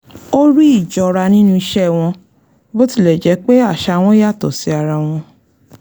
ó rí íjọra nínú ìṣe wọn bó tilẹ̀ jẹ́ pé àṣà wọn yàtọ̀ sí ara wọn